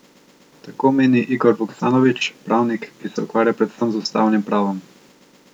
Tako meni Igor Vuksanović, pravnik, ki se ukvarja predvsem z ustavnim pravom.